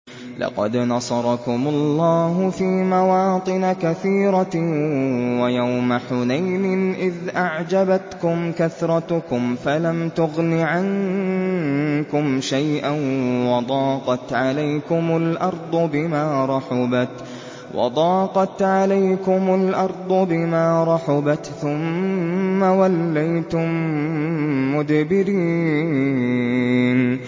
لَقَدْ نَصَرَكُمُ اللَّهُ فِي مَوَاطِنَ كَثِيرَةٍ ۙ وَيَوْمَ حُنَيْنٍ ۙ إِذْ أَعْجَبَتْكُمْ كَثْرَتُكُمْ فَلَمْ تُغْنِ عَنكُمْ شَيْئًا وَضَاقَتْ عَلَيْكُمُ الْأَرْضُ بِمَا رَحُبَتْ ثُمَّ وَلَّيْتُم مُّدْبِرِينَ